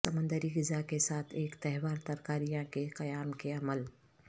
سمندری غذا کے ساتھ ایک تہوار ترکاریاں کے قیام کے عمل